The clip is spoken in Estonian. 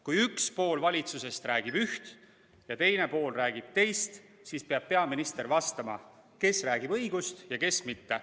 Kui üks pool valitsusest räägib üht ja teine pool räägib teist, siis peab peaminister selgitama, kes räägib õigust ja kes mitte.